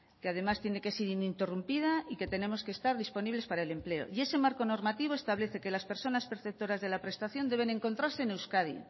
que además tiene que ser ininterrumpida y que tenemos que estar disponibles para el empleo y ese marco normativo establece que las personas perceptoras de la prestación deben encontrarse en euskadi